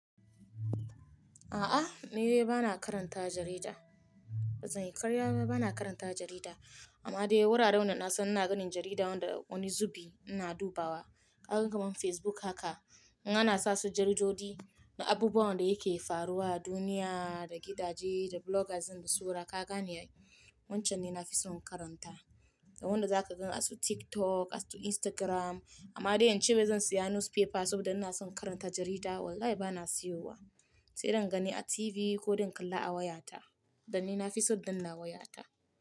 A'a, ni bana karanta jarida. Ba Zan yi karyaba bana karanta jarida, amma dai wuraren da na san ina ganin jarida wanda wani zubi ina dubawa. Kaga man Facebook haka, in ana sa su jaridodi, na abubuwan da yake faruwa a duniya, da gidaje, da bloggers and sura, kaka ne wancan ne na fi son in karanta. Da wanda za ka gan a su TikTok, a su Instagram, amma dai yanzu sai zan siya newspaper saboda ina son karanta jarida, wallahi bana siyowa. Sai dai in gani a TV ko dinkalla a wayata. Dan ni na fi son danna wayata.